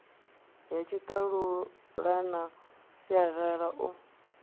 ya tshiṱalula na sialala u